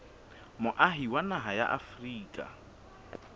moahi wa naha ya afrika